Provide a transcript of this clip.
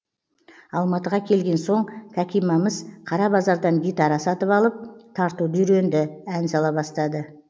алматыға келген соң кәкимамыз қара базардан гитара сатып алып тартуды үйренді ән сала бастады